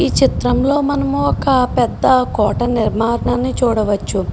ఈ చిత్రం లో మనం ఒక పెద్ద కోట నిర్మాణి చూడ వచ్చు